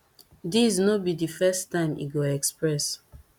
these no be di first time e go express